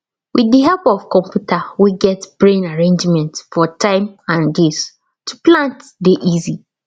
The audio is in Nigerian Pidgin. with the help of computer wey get brain arrangements for tym n days to plant dey easy